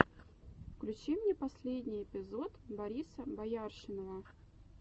включи мне последний эпизод бориса бояршинова